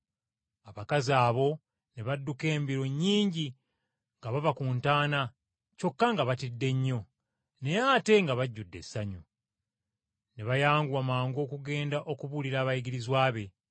Abakazi abo ne badduka embiro nnyingi nga bava ku ntaana kyokka nga batidde nnyo, naye ate nga bajjudde essanyu. Ne bayanguwa mangu okugenda okubuulira abayigirizwa be.